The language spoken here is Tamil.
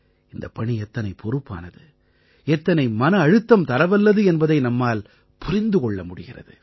இந்தப் பணி எத்தனைப் பொறுப்பானது எத்தனை மன அழுத்தம் தரவல்லது என்பதை நம்மால் புரிந்து கொள்ள முடிகிறது